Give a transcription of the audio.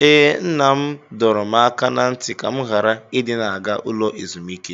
Ee, Nna m dọrọ m aka ná ntị ka m ghara ịdị na-aga ụlọ ezumike.